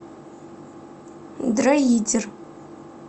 дроидер